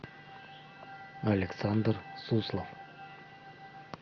александр суслов